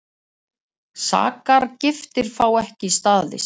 Sakargiftir fá ekki staðist